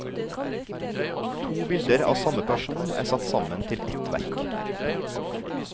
To bilder av samme person er satt sammen til ett verk.